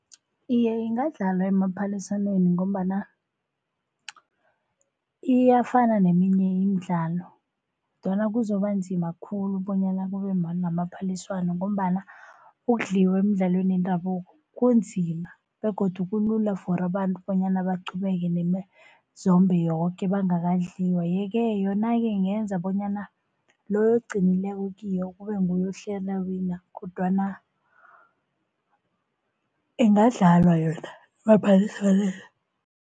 Iye, ingadlalwa emaphaliswaneni ngombana iyafana neminye imidlalo kodwana kuzoba nzima khulu bonyana kube namaphaliswano. Ngombana ukudliwa emidlalweni yendabuko kunzima begodu kulula for abantu bonyana baqhubeke nemizombe yoke bangakadliwa. Yeke yona-ke ingenza bonyana loyo ogcinileko kiyo kube nguye ohlela awina kodwana ingadlalwa yona emaphaliswaneni.